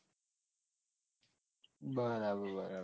બરાબર